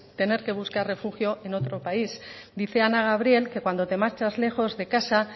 tener que buscar refugio en otro país dice ana gabriel que cuando te marchas lejos de casa